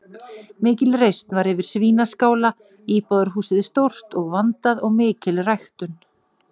Mikil reisn var yfir Svínaskála, íbúðarhúsið stórt og vandað og mikil ræktun.